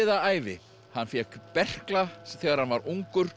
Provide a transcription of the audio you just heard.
ævi hann fékk berkla þegar hann var ungur